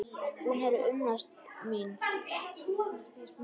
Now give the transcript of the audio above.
Hún er unnusta mín!